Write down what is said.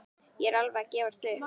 Ég er alveg að gefast upp.